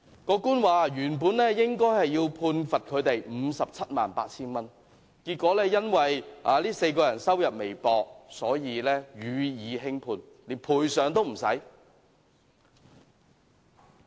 法官說原本應該要判罰他們 578,000 元，結果因為這4人收入微薄，所以予以輕判，連賠償也不需要。